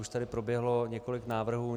Už tady proběhlo několik návrhů.